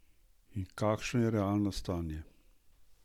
In kakšno je realno stanje?